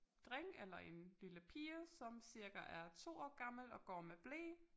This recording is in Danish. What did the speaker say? Dreng eller en lille pige som cirka er 2 år gammel og går med ble